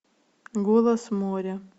голос моря